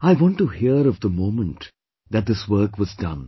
I want to hear of the moment that this work was done